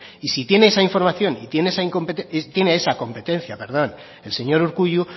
y si tiene esa información y tiene esa competencia el señor urkullu